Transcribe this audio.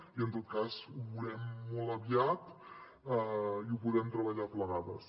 i en tot cas ho veurem molt aviat i ho podem treballar plegades